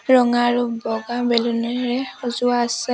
ৰঙা আৰু বগা বেলুন এৰে সজোৱা আছে।